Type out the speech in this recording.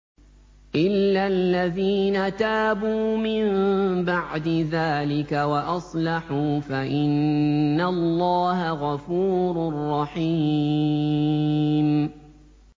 إِلَّا الَّذِينَ تَابُوا مِن بَعْدِ ذَٰلِكَ وَأَصْلَحُوا فَإِنَّ اللَّهَ غَفُورٌ رَّحِيمٌ